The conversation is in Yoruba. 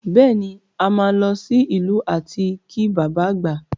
Bẹ́ẹ̀ ni, a máa lọ sí ìlú láti kí bàbá àgbà